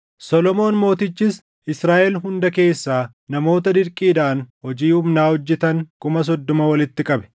Solomoon mootichis Israaʼel hunda keessaa namoota dirqiidhaan hojii humnaa hojjetan kuma soddoma walitti qabe.